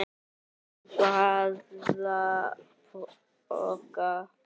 Á báða bóga.